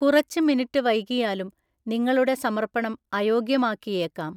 കുറച്ച് മിനിറ്റ് വൈകിയാലും നിങ്ങളുടെ സമർപ്പണം അയോഗ്യമാക്കിയേക്കാം.